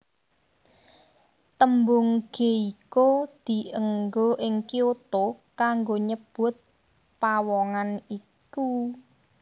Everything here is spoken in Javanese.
Tembung geiko dianggo ing Kyoto kanggo nyebut pawongan iku